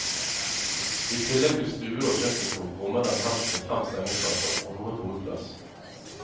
I tillegg til stue og kjøkkenkrok rommer den hems med fem sengeplasser, og noe bodplass.